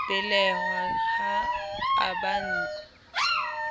belehwa ha e ba ntshe